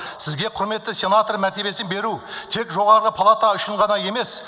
сізге құрметті сенатор мәртебесін беру тек жоғары палата үшін ғана емес